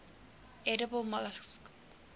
edible molluscs